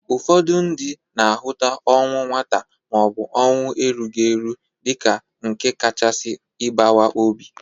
Ụfọdụ ndị na-ahụta ọnwụ nwata ma ọ bụ ọnwụ erughi eru dịka nke kachasi ịbawa obi.